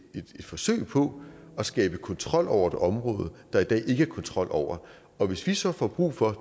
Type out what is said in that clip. forsøg på at skabe kontrol over et område der i dag ikke er kontrol over og hvis vi så får brug for